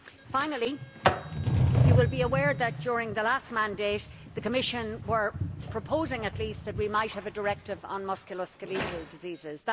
Finally, you will be aware that during the last mandate the Commission were proposing, at least, that we might have a directive on musculoskeletal diseases.